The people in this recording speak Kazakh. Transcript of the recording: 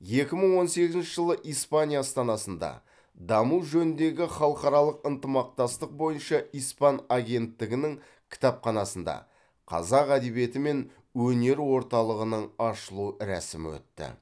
екі мың он сегізінші жылы испания астанасында даму жөніндегі халықаралық ынтымақтастық бойынша испан агенттігінің кітапханасында қазақ әдебиеті мен өнер орталығының ашылу рәсімі өтті